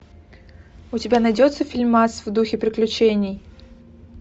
у тебя найдется фильмас в духе приключений